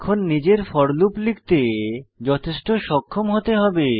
এখন নিজের for loop লিখতে যথেষ্ট সক্ষম হতে হবে